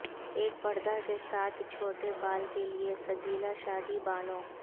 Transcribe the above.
ایک پردہ کے ساتھ چھوٹے بال کے لئے سجیلا شادی بالوں